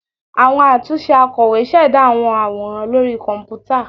Awọn atunṣe akọwé ṣẹda awọn aworan lori kọnputa